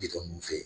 Bitɔn ninnu fɛ